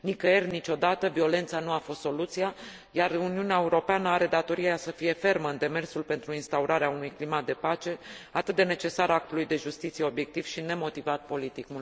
Nicăieri, niciodată, violența nu a fost soluția, iar Uniunea Europeană are datoria să fie fermă în demersul pentru instaurarea unui climat de pace, atât de necesar actului de justiție obiectiv și nemotivat politic.